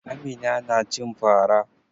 Amina na cin fa ra.